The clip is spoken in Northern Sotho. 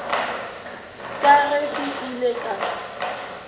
ka ge ke ile ka